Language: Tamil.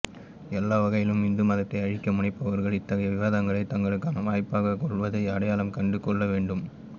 எல்லாவகையிலும் இந்து மதத்தை அழிக்கமுனைபவர்கள் இத்தகைய விவாதங்களை தங்களுக்கான வாய்ப்பாகக் கொள்வதை அடையாளம் கண்டுகொள்ளவேண்டும்